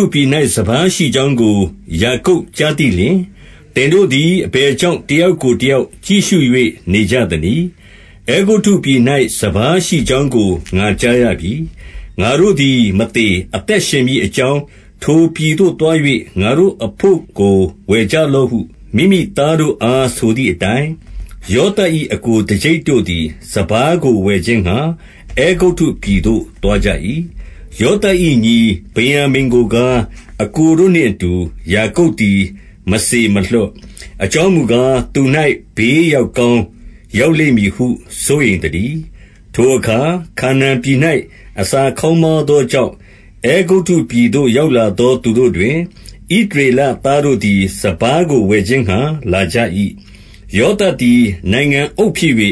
ုပြည်၌ စပါးရှိကြောင်းကို ယာကုပ် ကြားသိလျှင်၊ သင်တို့သည် အဘယ်ကြောင့် တယောက်ကို တယောက် ကြည့်ရှု၍ နေကြသနည်း။ 2 အဲဂုတ္တုပြည်၌ စပါးရှိကြောင်းကို ငါကြားရပြီ။ ငါတို့သည်မသေ အသက်ရှင်မည်အကြောင်း၊ ထိုပြည်သို့ သွား၍ ငါတို့အဘို့ကို ဝယ်ကြလော့ဟု မိမိသားတို့အား ဆိုသည်အတိုင်း၊ 3 ယောသပ်၏ အစ်ကိုတကျိပ်တို့သည် စပါးကို ဝယ်ခြင်းငှါ အဲဂုတ္တုပြည်သို့ သွားကြ၏။ 4 ယောသပ်၏ညီ ဗင်္ယာမိန်ကိုကား အစ်ကိုတို့နှင့် အတူ ယာကုပ်သည်မစေမလွှတ်။ အကြောင်းမူကား၊ သူ၌ ဘေးရောက်ကောင်းရောက်လိမ့်မည်ဟု စိုးရိမ်သတည်း။ 5 ထိုအခါ ခါနာန်ပြည်၌ အစာခေါင်းပါးသော ကြောင့်၊ အဲဂုတ္တုပြည်သို့ရောက်လာသော သူတို့တွင်၊ ဣသရေလသားတို့သည် စပါးကိုဝယ်ခြင်းငှါ လာကြ၏။ 6 ယောသပ်သည် နိုင်ငံအုပ်ဖြစ်၍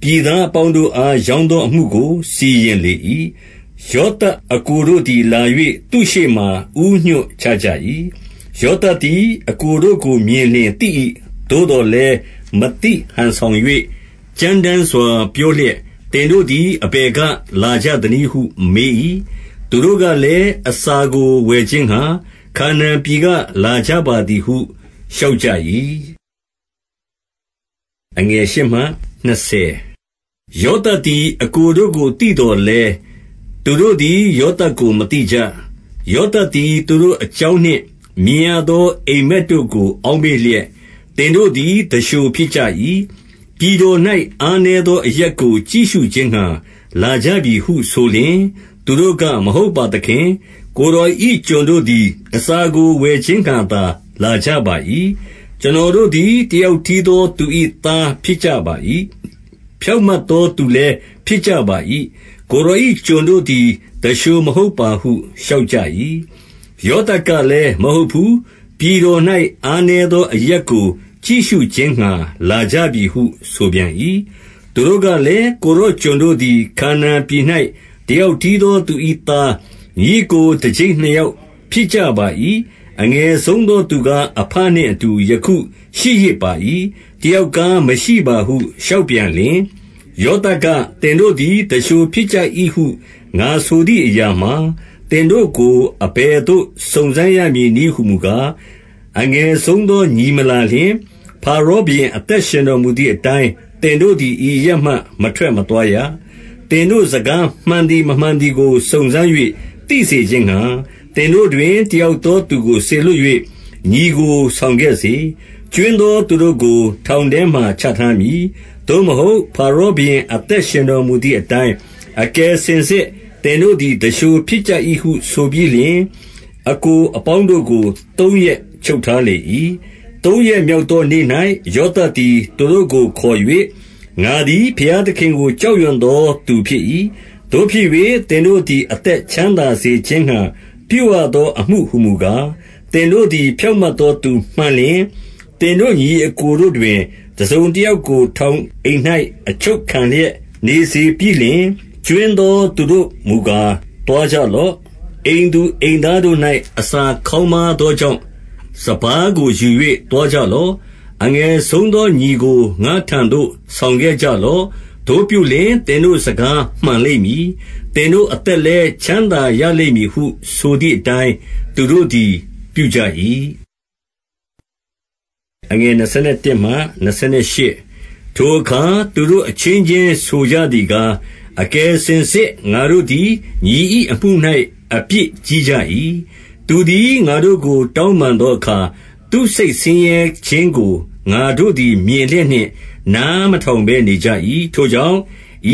ပြည်သား အပေါင်းတို့အား ရောင်းသောအမှုကို စီရင်လေ၏။ ယော သပ်အစ်ကိုတို့သည်လာ၍ သူ့ရှေ့မှာ ဦးညွှတ်ချကြ၏။ 7 ယောသပ်သည် အစ်ကိုတို့ကိုမြင်လျှင်သိ၏။ သို့သော်လည်း မသိဟန်ဆောင်၍ ကြမ်းတမ်းစွာ ပြော လျက်၊ သင်တို့သည် အဘယ်ကလာကြသနည်းဟု မေး၏။ သူတို့ကလည်း၊ အစာကိုဝယ်ခြင်းငှါ ခါနာန်ပြည်က လာကြပါသည် ဟုလျှောက်ကြ၏။ 8 ယောသပ်သည် အစ်ကိုတို့ကိုသိသော်လည်း၊ သူတို့သည် ယောသပ်ကို မသိကြ။ 9 ယောသပ်သည် သူတို့အကြောင်းနှင့် မြင်ရသော အိပ်မက်တို့ကို အောက်မေ့လျက်၊ သင်တို့သည် သူလျှို ဖြစ်ကြ၏။ ပြည်တော်၌ အားနည်းသောအရပ်ကို ကြည့်ရှု ခြင်းငှါ လာကြပြီဟုဆိုလျှင်၊ 10 သူတို့က၊ မဟုတ်ပါသခင်။ ကိုယ်တော်၏ကျွန်တို့ သည် အစာကို ဝယ်ခြင်းငှါသာ လာကြပါ၏။ 11 ကျွန်တော်တို့သည် တယောက်တည်းသောသူ၏ သားဖြစ်ကြပါ၏။ ဖြောင့်မတ်သောသူလည်း ဖြစ်ကြပါ၏။ ကိုယ်တော်၏ကျွန်တို့သည် သူလျှိုမဟုတ်ပါဟု လျှောက် ကြ၏။ 12 ယောသပ်ကလည်း၊ မဟုတ်ဘူး။ ပြည်တော်၌ အားနည်းသော အရပ်ကိုကြည့်ရှုခြင်းငှါ လာကြပြီဟု ဆိုပြန်၏။ 13 သူတို့ကလည်း၊ ကိုယ်တော်ကျွန်တို့သည် ခါနာန် ပြည်၌ တယောက်တည်းသောသူ၏သား၊ ညီအစ်ကို တကျိပ်နှစ်ယောက် ဖြစ်ကြပါ၏။ အငယ်ဆုံးသောသူကား အဘနှင့်အတူ ယခုရှိရစ်ပါ၏။ တယောက်ကားမရှိပါဟု လျှောက်ပြန်လျှင်၊ 14 ယောသပ်က၊သင်တို့သည် သူလျှိုဖြစ်ကြ၏ဟု ငါဆိုသည်အရာမှာ၊ 15 သင်တို့ကို အဘယ်သို့ စုံစမ်းရမည်နည်းဟူမူ ကား၊ အငယ်ဆုံးသောညီ မလာလျှင်၊ ဖါရောဘုရင် အသက်ရှင်တော်မူသည်အတိုင်း သင်တို့သည် ဤအရပ်မှ မထွက်မသွားရ။ 16 သင်တို့စကား မှန်သည်မမှန်သည်ကို စုံစမ်း၍ သိစေခြင်းငှါ သင်တို့တွင် တယောက်သောသူကို စေလွှတ် ၍ ညီကိုဆောင်ခဲ့စေ။ ကြွင်းသောသူတို့ကို ထောင်ထဲမှာ ချထားမည်။ သို့မဟုတ် ဖါရောဘုရင် အသက်ရှင်တော် မူသည်အတိုင်း၊ အကယ်စင်စစ် သင်တို့သည် သူလျှို ဖြစ်ကြ၏ဟုဆိုပြီးလျှင်၊ 17 အစ်ကိုအပေါင်းတို့ကို သုံးရက်ချုပ်ထားလေ၏။ 18 သုံးရက်မြောက်သောနေ့၌ ယောသပ်သည် သူတို့ကိုခေါ်၍၊ ငါသည် ဘုရားသခင်ကို ကြောက်ရွံ့သော သူဖြစ်၏။ သို့ဖြစ်၍ သင်တို့သည် အသက်ချမ်းသာစေ ခြင်းငှါ ပြုရသောအမှုဟူမူကား၊ 19 သင်တို့သည် ဖြောင့်မတ်သောသူမှန်လျှင်၊ သင်တို့ညီအစ်ကိုတို့တွင် တစုံတယောက်ကို ထောင်အိမ်၌ အချုပ်ခံလျက်နေစေပြီးလျှင်၊ ကြွင်းသော သူတို့မူကား သွားကြလော့။ အိမ်သူအိမ်သားတို့၌ အစာခေါင်းပါး သောကြောင့် စပါးကိုယူ၍သွားကြလော့။ 20 အငယ်ဆုံးသောညီကို ငါ့ထံသို့ ဆောင်ခဲ့ကြ လော့။ သို့ပြုလျှင် သင်တို့စကားမှန်လိမ့်မည်။ သင်တို့ အသက်လည်း ချမ်းသာရလိမ့်မည်ဟုဆိုသည်အတိုင်း သူတို့သည်ပြုကြ၏။ 21 ထိုအခါ သူတို့အချင်းချင်းဆိုကြသည်ကား၊ အကယ်စင်စစ် ငါတို့ သည် ညီ၏အမှု၌ အပြစ်ကြီးကြ၏။ သူသည် ငါတို့ကိုတောင်းပန်သောအခါ၊ သူ့စိတ်ဆင်းရဲ ခြင်းကို ငါတို့သည် မြင်လျက်နှင့် နားမထောင်ဘဲနေကြ ၏။ ထိုကြောင့်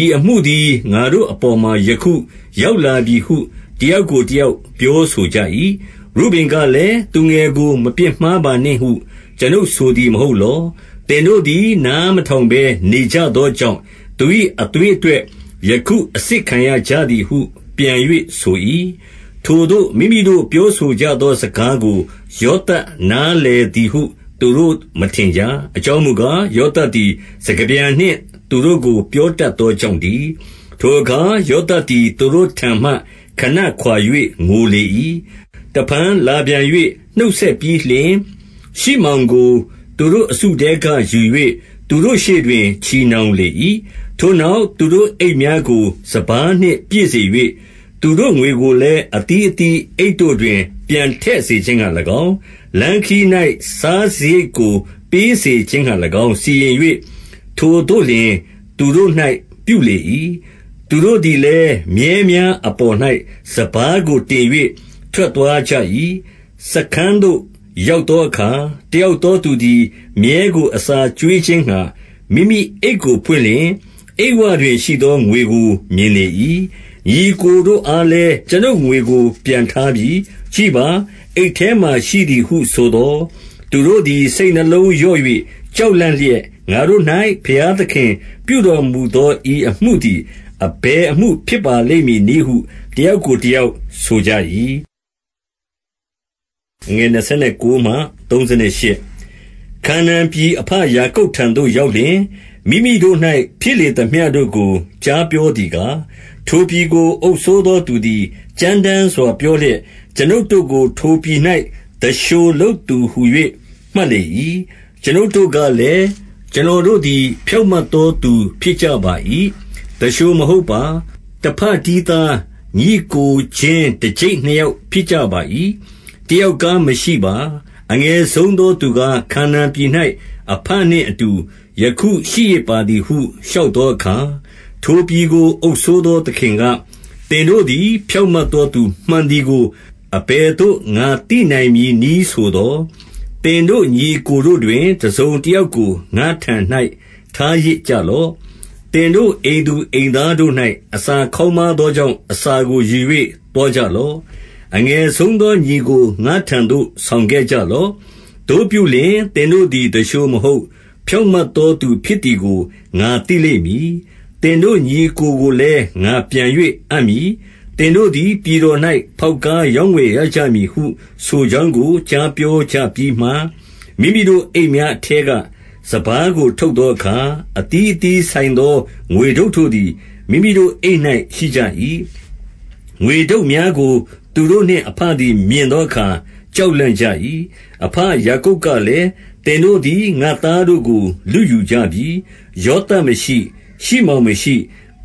ဤအမှုသည် ငါတို့အပေါ်မှာ ယခု ရောက်လာပြီဟု တယောက်ကိုတယောက် ပြောဆိုကြ၏။ 22 ရုဗင်ကလည်း၊ သူငယ်ကို မပြစ်မှားပါနှင့်ဟု ကျွန်ုပ်ဆိုသည်မဟုတ် လော။ သင်တို့သည် နားမထောင် ဘဲ နေကြသောကြောင့် သူ၏အသွေးအတွက် ယခု အစစ်ခံရကြသည်ဟု ပြန်၍ဆို၏။ 23 ထိုသို့ မိမိတို့ ပြောဆိုကြသောစကားကို ယော သပ် နားလည်သည်ဟု သူတို့မထင်ကြ။ အကြောင်းမူကား၊ ယောသပ်သည် စကားပြန်နှင့်သူတို့ကို ပြောတတ်သော ကြောင့်တည်း။ 24 ထိုအခါ ယောသပ်သည် သူတို့ထံမှခဏခွါ၍ ငိုလေ၏။ တဖန် လာပြန်၍ နှုတ်ဆက်ပြီးလျှင်၊ ရှိမောင် ကို သူတို့အစုထဲကယူ၍ သူတို့ရှေ့တွင် ချည်နှောင်လေ၏။ 25 ထိုနောက် သူတို့အိတ်များကို စပါးနှင့်ပြည့်စေ၍၊ သူတို့ငွေကိုလည်း အသီးအသီးအိတ်တို့တွင် ပြန်ထည့်စေ ခြင်းငှါ၎င်း၊ လမ်းခရီး၌ စားစရိတ်ကိုပေးစေခြင်းငှါ၎င်း စီရင်၍ ထိုသို့လျှင်သူတို့၌ပြုလေ၏။ 26 သူတို့သည်လည်း မြည်းများအပေါ်၌ စပါးကို တင်၍ ထွက်သွားကြ၏။ 27 စားခန်းသို့ရောက်သောအခါ၊ တယောက်သော သူသည် မြည်းကို အစာကျွေးခြင်းငှါ မိမိအိတ်ကိုဖွင့်လျှင်၊ အိတ်ဝတွင်ရှိသော ငွေကိုမြင်လေ၏။ 28 ညီအစ်ကိုတို့အားလည်း ကျွန်ုပ်ငွေကို ပြန်ထား ပြီ။ ကြည့်ပါ အိတ်ထဲမှာရှိသည်ဟုဆိုသော်၊ သူတို့သည် စိတ်နှလုံးလျော့၍ ကြောက်လန့်လျက်၊ ငါတို့၌ ဘုရား သခင်ပြုတော်မူသော ဤအမှုသည် အဘယ်အမှုဖြစ် ပါလိမ့်မည်နည်းဟု တယောက်ကိုတယောက်ဆိုကြ၏။ 29 ခါနာန်ပြည် အဘယာကုပ်ထံသို့ရောက်လျှင်၊ မိမိတို့၌ဖြစ်လေသမျှတို့ကို ကြားပြောသည်ကား၊ 30 ထိုပြည်ကိုအုပ်စိုးသောသူသည် ကြမ်းတမ်းစွာ ပြောလျက်၊ ကျွန်ုပ်တို့ကို ထိုပြည်၌ သူလျှိုလုပ်သူဟူ၍ မှတ်လေ၏။ 31 ကျွနုပ်တို့ကလည်း၊ ကျွန်တော်တို့သည် ဖြောင့် မတ်သောသူဖြစ်ကြပါ၏။ သူလျှိုမဟုတ်ပါ။ 32 တဘတည်းသား၊ ညီအစ်ကိုချင်း တကျိပ် နှစ်ယောက်ဖြစ်ကြပါ၏။ တယောက်ကားမရှိပါ။ အငယ် ဆုံးသောသူကား ခါနာန်ပြည်၌ အဘနှင့်အတူ ယခုရှိရစ် ပါသည်ဟု လျှောက်သောအခါ၊ 33 ထိုပြည်ကို အုပ်စိုးသောသခင်က၊ သင်တို့သည် ဖြောင့်မတ်သောသူမှန်သည်ကို အဘယ်သို့ ငါသိနိုင်မည် နည်းဆိုသော်၊ သင်တို့ညီအစ်ကိုတို့ တွင် တစုံတယောက်ကို ငါ့ထံ၌ထားရစ်ကြလော့။ သင်တို့အိမ်သူအိမ်သားတို့၌ အစာခေါင်းပါးသောကြောင့် အစာကိုယူ၍သွားကြလော့၊ 34 အငယ်ဆုံးသောညီကို ငါ့ထံသို့ ဆောင်ခဲ့ကြ လော့။ သို့ပြုလျှင် သင်တို့သည် သူလျှိုမဟုတ် ဖြောင့်မတ် သောသူဖြစ်သည်ကို ငါသိလိမ့်မည်။ သင်တို့ညီအစ်ကိုကို လည်း ငါပြန်၍အပ်မည်။ သင်တို့သည် ပြည်တော်၌ ဖေါက်ကားရောင်းဝယ်ရကြမည်ဟု ဆိုကြောင်းကို ကြားပြောကြပြီးမှ၊ 35 မိမိတို့အိတ်များအထဲက စပါးကို ထုတ်သော အခါ၊ အသီးအသီးဆိုင်သော ငွေထုပ်တို့သည် မိမိတို့အိတ် ၌ ရှိကြ၏။ ငွေထုပ်များကို သူတို့နှင့် အဘသည် မြင်သော အခါ ကြောက်လန့်ကြ၏။ 36 အဘယာကုပ်ကလည်း၊ သင်တို့သည် ငါ့သား တို့ကို လုယူကြပြီ။ ယောသပ်မရှိ၊ ရှိမောင်မရှိ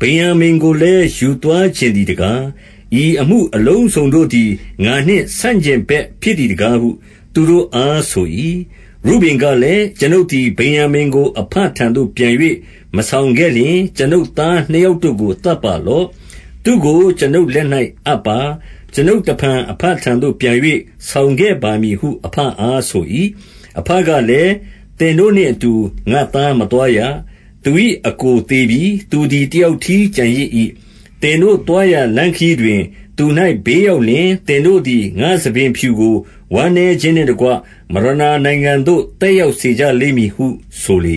၊ ဗင်္ယာမိန် ကိုလည်း ယူသွားချင်သည်တကား။ ဤအမှုအလုံးစုံတို့ သည် ငါနှင့်ဆန့်ကျင်ဘက်ဖြစ်သည်တကားဟု သူတို့အား ဆို၏။ 37 ရုဗင်ကလည်း၊ ကျွန်ုပ်သည် ဗင်္ယာမိန်ကို အဘ ထံသို့ပြန်၍ မဆောင်ခဲ့လျှင်၊ ကျွန်ုပ်သားနှစ်ယောက်တို့ကို သတ်ပါလော့။သူ့ကိုကျွန်ုပ် လက်၌အပ်ပါ။ ကျွန်ုပ်တဖန် အဘထံသို့ပြန်၍ ဆောင်ခဲ့ပါမည်ဟု အဘအား ဆို၏။ 38 အဘကလည်း၊ သင်တို့နှင့်အတူ ငါ့သားမသွား ရ။ သူ၏အစ်ကိုသေပြီ။ သူသည် တယောက်တည်း ကျန် ရစ်၏။ သင်တို့သွားရာလမ်းခရီးတွင် သူ၌ ဘေးရောက် လျှင်၊သင်တို့သည် ငါ့ဆံပင်ဖြူကို ဝမ်းနည်းခြင်းနှင့်တကွ မရဏာနိုင်ငံသို့ သက်ရောက်စေကြလိမ့်မည်ဟု ဆိုလေ